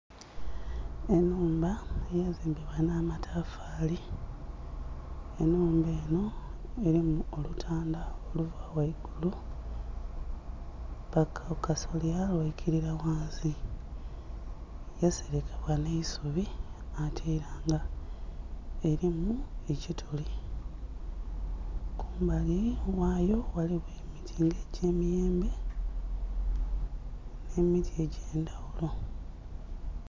Ennhumba eyazimbibwa nh'amatafaali, ennhumba eno erimu olutanda oluva ghaigulu paka ku kasolya lwaikirira ghansi, yaserekebwa n'eisubi ate era nga erimu ekituli. Kumbali ghayo ghaligho emiti nga egy'emiyembe n'emiti egy'endhaghulo.